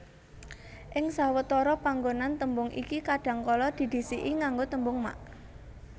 Ing sawetara panggonan tembung iki kadhangkala didhisiki nganggo tembung mak